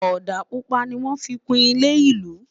òdà pupa ní wọn fí kún ilé ìlú